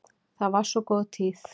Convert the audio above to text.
Það var svo góð tíð.